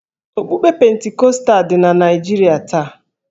Okpukpe Pentikọstal dị na Naịjirịa taa